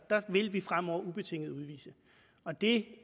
vil vi fremover ubetinget udvise og det